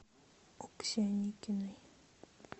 окси аникиной